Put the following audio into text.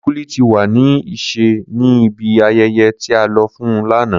Kulikuli ti wa ni iṣẹ ni ibi ayẹyẹ ti a lọ fun lana.